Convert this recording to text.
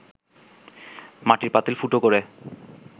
মাটির পাতিল ফুটো করে